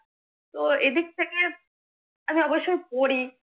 তো এদিক থেকে আমি অবশ্যই পড়ি